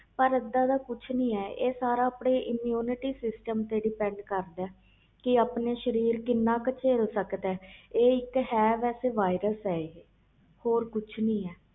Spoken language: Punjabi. ਪਰ ਇਹਦਾ ਦਾ ਕੁਛ ਨਹੀਂ ਹੈ ਇਹ ਸਬ ਸਾਰਾ ਆਪਣੇ immunity system ਤੇ depend ਕਰਦਾ ਆ ਕਿ ਆਪਣਾ ਸਰੀਰ ਕਿੰਨਾ ਕਾ ਛੱਲ ਸਕਦਾ ਇਹ ਇਕ viral ਆ ਹੋਰ ਕੁਛ ਨਹੀਂ